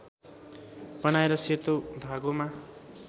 बनाएर सेतो धागोमा